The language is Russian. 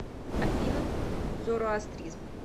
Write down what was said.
афина зороастризм